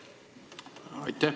Aitäh!